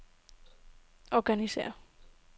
organisér